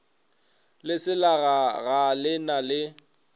leselaga ga le na le